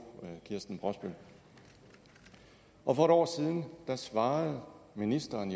kirsten brosbøl og for et år siden svarede ministeren